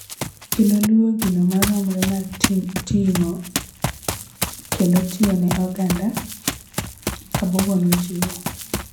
kendo luwo gino maromre mar ting'o kendo tiyo ne oganda," Kabogo nojiwo.